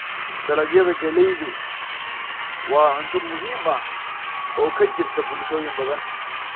Dalagyada galleydu waa cunto muhiim ah oo ka jirta bulshooyin badan.